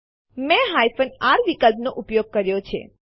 test dir directory બે ફાઈલો એબીસી1 અને એબીસી2 સમાવે છે